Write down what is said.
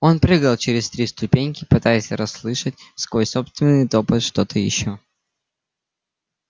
он прыгал через три ступеньки пытаясь расслышать сквозь собственный топот что-то ещё